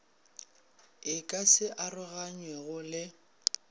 e ka se aroganywego le